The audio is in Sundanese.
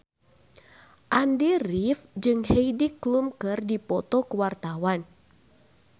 Andy rif jeung Heidi Klum keur dipoto ku wartawan